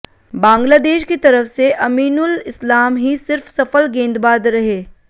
बांग्लादेश की तरफ से अमीनुल इस्लाम ही सिर्फ सफल गेंदबाद रहे